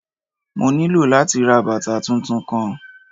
Mo nilo lati ra bata tuntun kan.